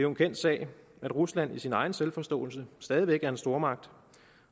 en kendt sag at rusland i sin egen selvforståelse stadig væk er en stormagt